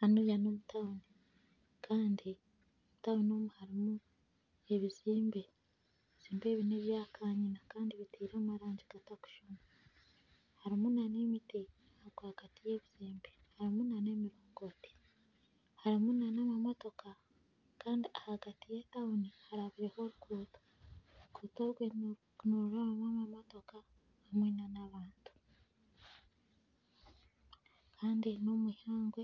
Hanuya nomu town Kandi omu town omu harumu ebizimbe , ebizimbe ebi nebyakanyina Kandi bitirwe amarangi gatarikushushana harumu n'emiti ahagati yebizimbe harumu namamotoka Kandi yetawuni harabireho oruguuto . Oruguuto orwe nirurabwamu amamotoka hamwe n'abantu Kandi n'omwihangwe